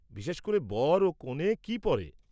বিশেষ করে, বর ও কনে কি পরে?